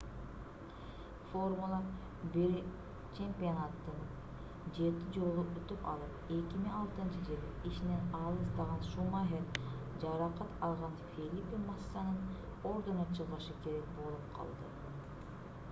формула-1 чемпионатын 7 жолу утуп алып 2006-ж ишинен алыстаган шумахер жаракат алган фелипе массанын ордуна чыгышы керек болуп калды